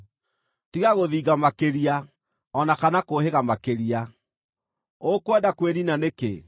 Tiga gũthinga makĩria, o na kana kũũhĩga makĩria: ũkwenda kwĩniina nĩkĩ?